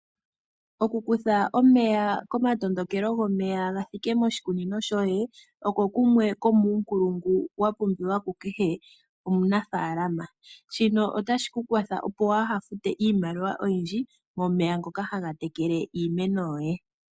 Oku kutha omeya po matondokelo gomeya ga thike moshikunino shoye osho shimwe shomuunkulungu wa pumbiwa ku kehe omunafaalama. Shino otashi ku kwathele opo ku ha fute iimaliwa oyindji momeya ngoka haga tekele iimeno yoye.